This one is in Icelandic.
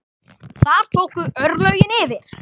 Þar tóku örlögin yfir.